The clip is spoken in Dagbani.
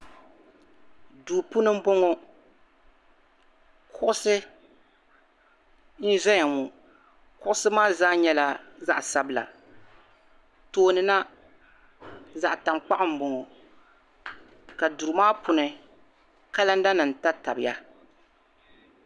Duu puuni m-bɔŋɔ kuɣisi n-zaya ŋɔ kuɣisi maa zaa nyɛla zaɣ' sabila tooni na zaɣ' taŋkpaɣu m-bɔŋɔ ka duri maa puuni kalandanima tabitabiya.